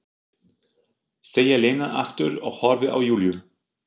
segir Lena aftur og horfir á Júlíu.